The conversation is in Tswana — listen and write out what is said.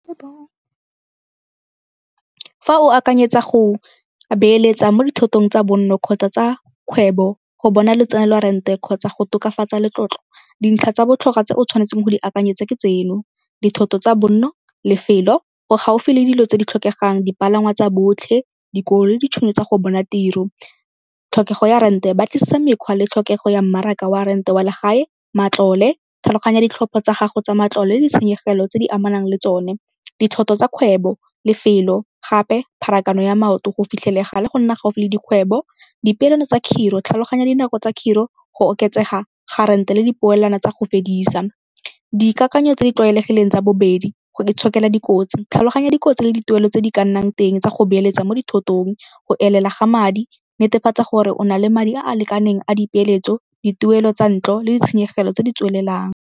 Fa o akanyetsa go beeletsa mo dithotong tsa bonno kgotsa tsa kgwebo go bona letseno lwa rent-e kgotsa go tokafatsa letlotlo, dintlha tsa botlhokwa tse o tshwanetseng go di akanyetsa ke tseno dithoto tsa bonno, lefelo go gaufi le dilo tse di tlhokegang, dipalangwa tsa botlhe, le ditšhono tsa go bona tiro. Tlhokego ya rent-e batlisisa mekgwa le tlhokego ya mmaraka wa a rent-e wa la gae, matlole, tlhaloganya ditlhopho tsa gago tsa matlole le ditshenyegelo tse di amanang le tsone. Dithoto tsa kgwebo, lefelo gape pharakano ya maoto go fitlhelega le go nna gaufi le dikgwebo, dipeelano tsa khiro, tlhaloganya dinako tsa khiro go oketsega ga rent-e le dipoelano tsa go fedisa. Dikakanyo tse di tlwaelegileng tsa bobedi, go itshokela dikotsi, tlhaloganya dikotsi le dituelo tse di ka nnang teng tsa go beeletsa mo dithotong, go elela ga madi, netefatsa gore o na le madi a a lekaneng a dipeeletso, dituelo tsa ntlo le ditshenyegelo tse di tswelelang.